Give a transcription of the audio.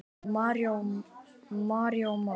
Marinó Már.